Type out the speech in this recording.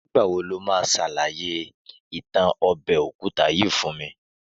Nígbà wo lo máa ṣàlàyé ìtàn ọbẹ̀ òkúta yìí fún mi